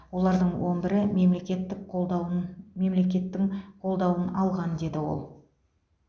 олардың он бірі мемлекеттік қолдауын мемлекеттің қолдауын алған деді ол